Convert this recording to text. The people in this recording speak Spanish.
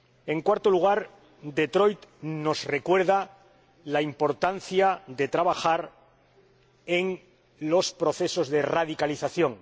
En cuarto lugar, Detroit nos recuerda la importancia de trabajar en los procesos de radicalización.